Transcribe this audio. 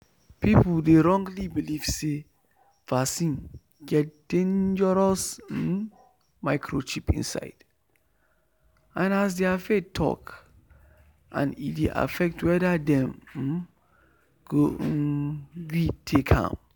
people dey wrongly believe say vaccine get dangerous um microchip inside as their faith talk and e dey affect whether dem um go um gree take am.